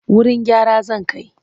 Wurin gyara zan kai.